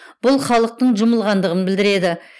бұл халықтың жұмылғандығын білдіреді